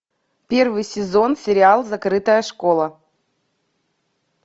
первый сезон сериал закрытая школа